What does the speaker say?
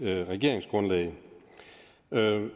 regeringsgrundlag